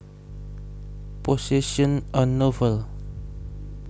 Possessions A Novel